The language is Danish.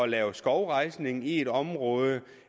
lave skovrejsning i et område